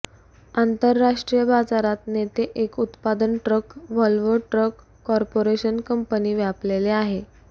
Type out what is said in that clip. आंतरराष्ट्रीय बाजारात नेते एक उत्पादन truck Volvo truck corporation company व्यापलेले आहे